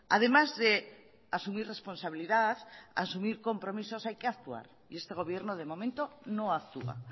además de asumir responsabilidad asumir compromisos hay que actuar y este gobierno de momento no actúa